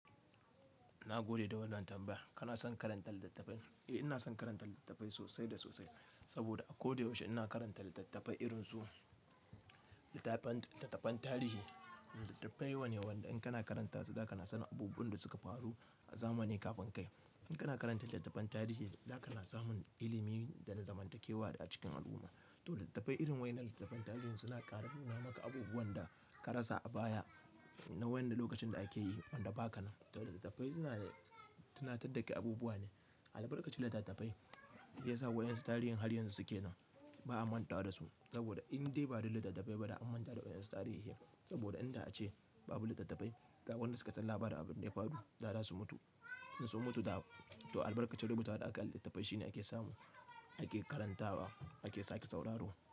Na gode da wannan tambaya. Kana son karanta littattafai? Eh, ina son karanta littattafai sosai da sosai saboda a koda yaushe ina karanta littattafai irin su littattafan tarihi. Littattafai wane waɗanda in kana karanta su, za kana sanin abubuwan da suka faru a zamanin kafin kai. In kana karanta littattafan tarihi, za kana samun ilimi da na zamantakewa a cikin al'umma. To littattafai irin wa'innan littattafan tarihi suna ƙara nuna maka abubuwan da ka rasa a baya na waƴanda lokacin da ake yi, wanda ba ka nan. To littattafai suna tunatar da kai abubuwa ne. Albarkacin littattafai ya sa waƴansu tarihin har yanzu suke nan, ba a mantawa da su saboda in dai ba don littattafai ba, da an manta da waƴansu tarihin. Saboda inda a ce babu littattafai, da waɗanda suka san labarin abin da ya faru, za su mutu. In sun mutu to albarkacin rubutawa da aka yi a littattafai shine ake samu, ake karantawa, ake sake sauraro.